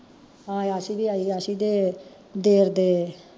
ਹਾਂ ਆਸੀ ਵੀ ਆਈ, ਆਸੀ ਦੇ ਦੇਰਦੇ